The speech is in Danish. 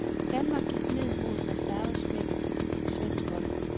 Danmark gik ned mod reservespækket svensk hold.